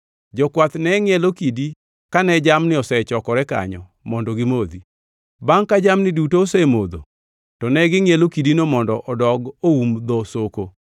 Jokwath nengʼielo kidi kane jamni osechokore kanyo mondo gimodhi. Bangʼ ka jamni duto osemodho, to ne gingʼielo kidino mondo odog oum dho soko.